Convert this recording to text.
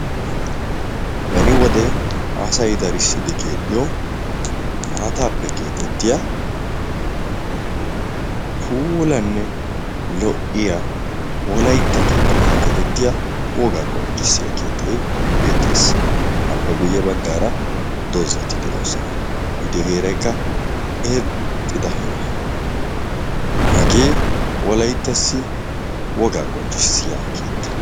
Beni wode asay darissidi keexxyoo maataappe keexettiyaa puulanne lo'iyaa wolaytta keetta yagetettiyaa wogaa qonccissiyaa keettay beettes appe guyye bagaara doozzati de'oosona i diyoo heeraykka irxxida heeraa hagee wolayttassi wogaa qonccissiyaa keettaa.